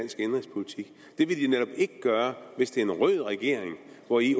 vil de netop ikke gøre hvis det er en rød regering hvori